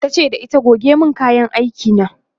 tace da ita "goge min kayan aiki na!"